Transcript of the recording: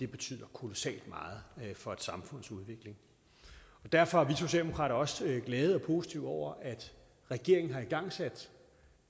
betyder kolossalt meget for et samfunds udvikling derfor er vi socialdemokrater også glade og positive over at regeringen har igangsat